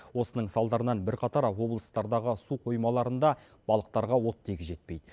осының салдарынан бірқатар облыстардағы су қоймаларындағы балықтарға оттегі жетпейді